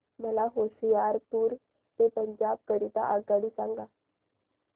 मला होशियारपुर ते पंजाब करीता आगगाडी सांगा